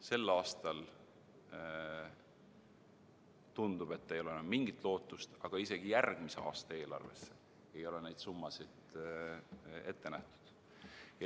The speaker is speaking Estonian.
Sel aastal, tundub, ei ole enam mingit lootust, aga isegi järgmise aasta eelarvesse ei ole neid summasid ette nähtud.